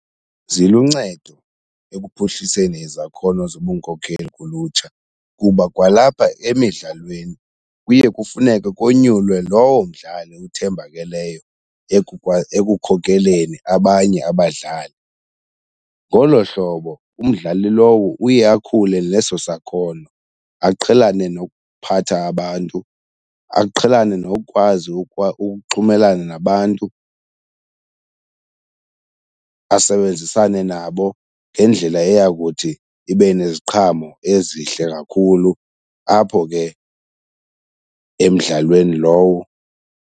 Ziluncedo ekuphuhliseni izakhono zobunkokheli kulutsha kuba kwalapha emidlalweni kuye kufuneke konyulwe lowo mdlali uthembakeleyo ekukhokeleni abanye abadlali. Ngolo hlobo umdlali lowo uye akhule neso sakhono aqhelane nokuphatha abantu, aqhelane nokukwazi ukuxhumelana nabantu asebenzisane nabo ngendlela eya kuthi ibe neziqhamo ezihle kakhulu apho ke emdlalweni lowo.